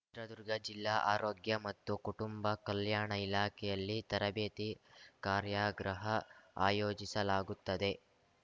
ಚಿತ್ರದುರ್ಗ ಜಿಲ್ಲಾ ಆರೋಗ್ಯ ಮತ್ತು ಕುಟುಂಬ ಕಲ್ಯಾಣ ಇಲಾಖೆಯಲ್ಲಿ ತರಬೇತಿ ಕಾರ್ಯಾಗ್ರಹ ಆಯೋಜಿಸಲಾಗುತ್ತದೆ